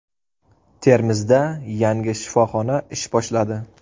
Termizda yangi shifoxona ish boshladi.